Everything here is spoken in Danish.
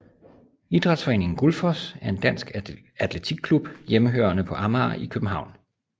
Idrætsforeningen Gullfoss er en dansk atletikklub hjemmehørende på Amager i København